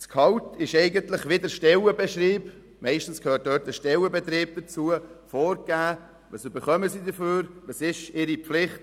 Das Gehalt ist wie der dazugehörige Stellenbeschrieb vorgegeben, in welchem die Pflichten und Aufgaben der Kader aufgeführt sind.